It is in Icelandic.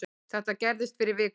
Þetta gerðist fyrir viku